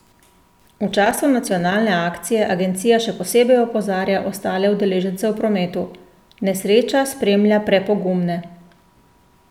V času nacionalne akcije agencija še posebej opozarja ostale udeležence v prometu: 'Nesreča spremlja prepogumne.